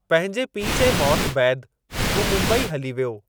पंहिंजे पीउ जे मौति बैदि हू मुंबई हली वियो।